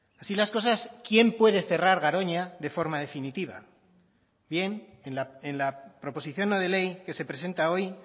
así las cosas quién puede cerrar garoña de forma definitiva bien en la proposición no de ley que se presenta hoy